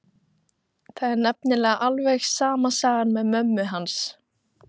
Það er nefnilega alveg sama sagan með mömmu hans.